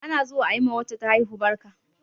Ana zuwa ayi wa wacce ta haihu barka